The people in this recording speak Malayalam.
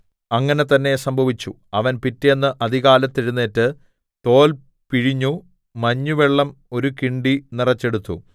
അങ്ങനെ തന്നേ സംഭവിച്ചു അവൻ പിറ്റെന്ന് അതികാലത്ത് എഴുന്നേറ്റ് തോൽ പിഴിഞ്ഞു മഞ്ഞുവെള്ളം ഒരു കിണ്ടി നിറെച്ചെടുത്തു